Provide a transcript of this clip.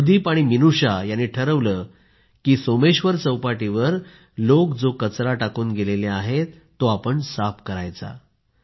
अनुदीप आणि मिनूषा यांनी ठरवलं की ते सोमेश्वर चौपाटीवर लोक जो कचरा टाकून गेले आहेत तो साफ करायचा